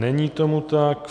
Není tomu tak.